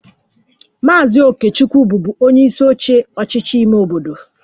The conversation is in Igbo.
Maazị Okechukwu bụbu onyeisi oche ọchịchị ime obodo